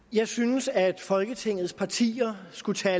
jeg synes at folketingets partier skulle tage